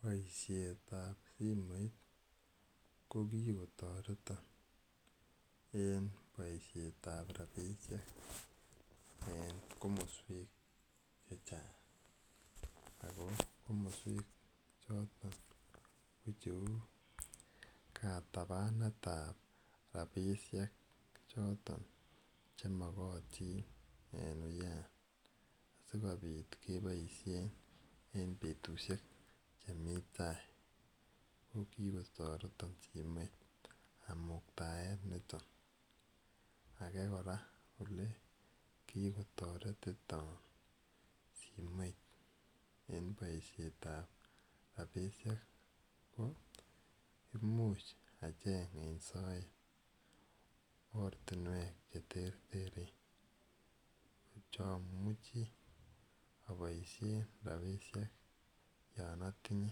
Poishet ap simoit ko kikotaretan en poishet ap rapishek en komaswek che chang'. Ako komaswek choton ko cheu katapanet ap rapishek choton che makatin en wuya asikopit kepaishen en petushek che mi tai, ko kikotaretan simoit amuktaen niton. Age ole kikotaretita simoit en poishetap rapishek ko imuch acheng' en soet ortinwek che terteren che amuchi apaishen rapishek yan atinye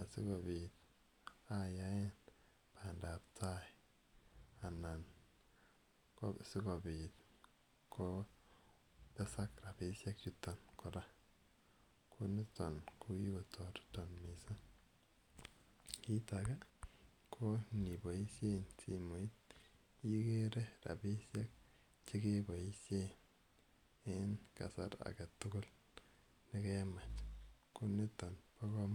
asikopit ayaen pandaptai anan ko sikopit kotesak rapishechuton kora. Ko niton ko kikortaretan missing'. Kiit age kora ko ngipaishen simoit igere rapishek che kepaishen en kasar age tugul ne kemach. Ko niton pa kamanut.